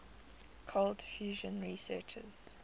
cold fusion researchers